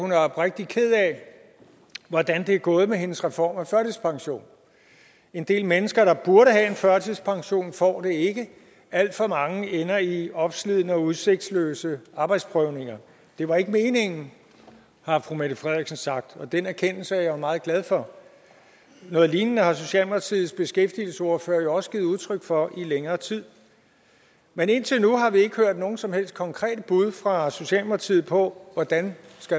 hun er oprigtig ked af hvordan det er gået med hendes reform af førtidspensionen en del mennesker der burde have en førtidspension får det ikke alt for mange ender i opslidende og udsigtsløse arbejdsprøvninger det var ikke meningen har fru mette frederiksen sagt og den erkendelse er jeg jo meget glad for noget lignende har socialdemokratiets beskæftigelsesordfører jo også givet udtryk for i længere tid men indtil nu har vi ikke hørt nogen som helst konkrete bud fra socialdemokratiet på hvordan